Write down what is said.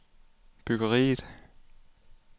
byggeriet